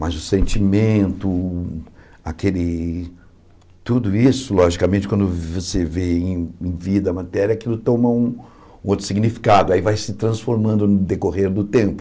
Mas o sentimento, aquele tudo isso, logicamente, quando você vê em em vida a matéria, aquilo toma um um outro significado, aí vai se transformando no decorrer do tempo.